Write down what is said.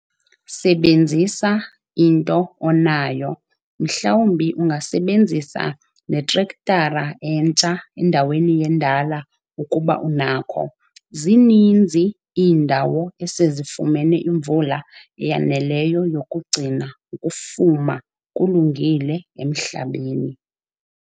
Sebenzisa into onayo mhlawumbi ungasebenzisi netrektara entsha endaweni yendala ukuba unakho. Zininzi iindawo esezifumene imvula eyaneleyo yokugcina ukufuma kulungile emhlabeni.